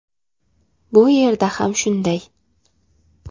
Bu yerda ham shunday.